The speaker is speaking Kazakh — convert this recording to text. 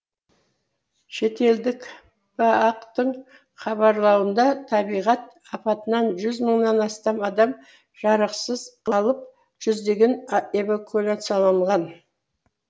шетелдік бақ тың хабарлауында табиғат апатынан жүз мыңнан астам адам жарықсыз қалып жүздегені эвакуацияланған